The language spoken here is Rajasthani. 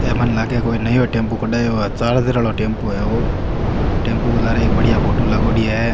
ये मने लगे कोई नयो टेम्पू कडायो है चार्जर वाला टेम्पू है वो टेम्पू के लारे एक बढ़िया फोटो लागोड़ी है।